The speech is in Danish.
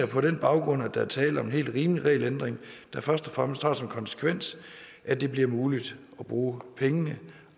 på den baggrund er tale om en helt rimelig regelændring der først og fremmest har som konsekvens at det bliver muligt at bruge pengene